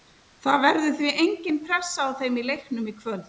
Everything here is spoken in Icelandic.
Það verður því engin pressa á þeim í leiknum í kvöld.